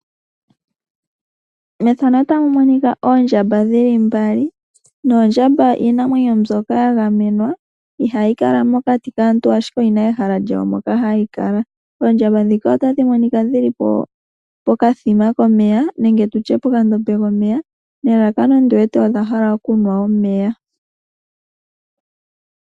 Oondjamba iinamwenyo mbyoka ya gamenwa ihayi kala mokati kaantu ashike oyina ehala mpono hadhi kala. Oha dhiya pokathima komeya nelalakano okunwa omeya.